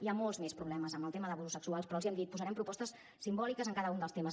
hi ha molts més problemes amb el tema d’abusos sexuals però els ho hem dit posarem propostes simbòliques en cada un dels temes